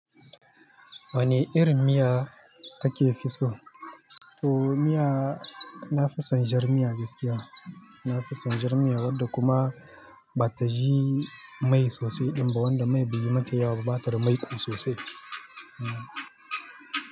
Wane irin miya kake fi so? To miya, na fi son jar miya gaskiya. Na fi son jar miya wadda kuma bata ji mai sosai ɗin ba, wadda mai beyi mata yawa ba ba tada maiƙo sosai.